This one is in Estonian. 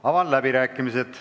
Avan läbirääkimised.